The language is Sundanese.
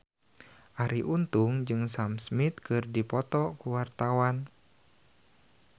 Arie Untung jeung Sam Smith keur dipoto ku wartawan